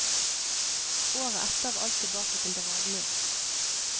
Året etter var alt tilbake til det vanlige.